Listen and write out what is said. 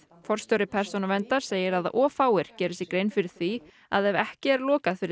forstjóri Persónuverndar segir að of fáir geri sér grein fyrir því að ef ekki er lokað fyrir